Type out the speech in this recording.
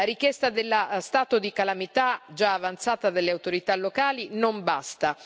La richiesta dello stato di calamità, già avanzata delle autorità locali, non basta.